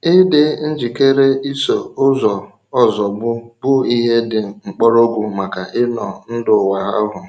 Ị̀dị njikèrè ìsò ụzọ ozògbù bụ ihe dị mkpọrọgwụ maka ịnọ̀ ndụ̀ nwa ahụ.